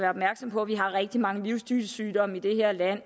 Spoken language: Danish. opmærksom på at vi har rigtig mange livsstilssygdomme i det her land